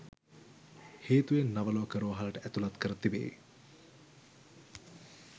හේතුවෙන් නවලෝක රෝහලට ඇතුලත් කර තිබේ